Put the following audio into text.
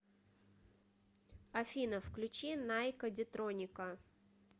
афина включи найкка дитроника